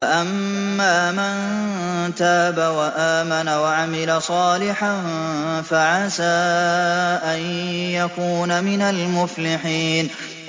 فَأَمَّا مَن تَابَ وَآمَنَ وَعَمِلَ صَالِحًا فَعَسَىٰ أَن يَكُونَ مِنَ الْمُفْلِحِينَ